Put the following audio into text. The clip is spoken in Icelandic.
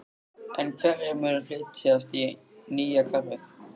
En hverjir munu flytjast í nýja hverfið?